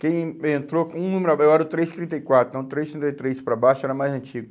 Quem entrou, um número abai, eu era o três, trinta e quatro, então três, trinta e três para baixo era mais antigo.